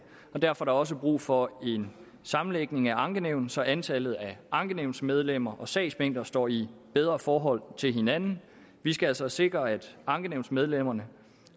derfor er der også brug for en sammenlægning af ankenævnene så antallet af ankenævnsmedlemmer og sagsmængder står i bedre forhold til hinanden vi skal altså sikre at ankenævnsmedlemmerne